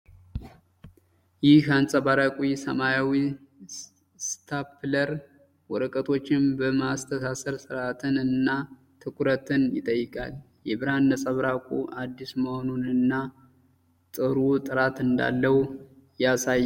ይህ አንጸባራቂ ሰማያዊ ስታፕለር ወረቀቶችን በማስተሳሰር ሥርዓትን እና ትኩረትን ይጠይቃል ። የብርሃን ነጸብራቁ አዲስ መሆኑንና ጥሩ ጥራት እንዳለው ያሳያል ።